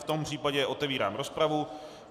V tom případě otevírám rozpravu.